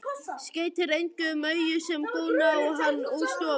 Skeytir engu um augu sem góna á hann úr stofunni.